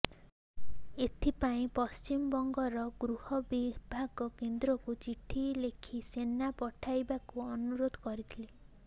ଏଥିପାଇଁ ପଶ୍ଚିମବଙ୍ଗର ଗୃହ ବିଭାଗ କେନ୍ଦ୍ରକୁ ଚିଠି ଲେଖି ସେନା ପଠାଇବାକୁ ଅନୁରୋଧ କରିଥିଲା